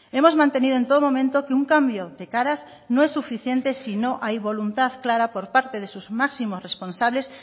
hemos mantenido en todo momento que un cambio de caras no es suficiente si no hay voluntad clara por parte de sus máximos responsables